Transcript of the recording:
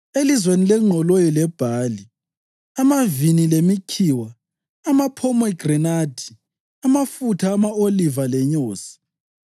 elizweni lengqoloyi lebhali, amavini lemikhiwa, amaphomegranathi, amafutha ama-oliva lenyosi;